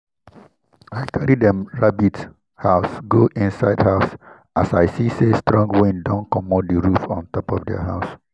i carry dem rabbit house go inside house as i see say strong wind don commot the roof on top their house.